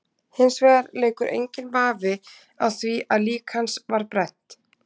Hins vegar leikur enginn vafi á því að lík hans var brennt.